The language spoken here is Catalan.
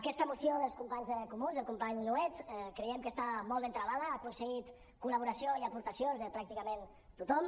aquesta moció dels companys d’en comú del company nuet creiem que està molt ben travada ha aconseguit col·laboració i aportacions de pràcticament tothom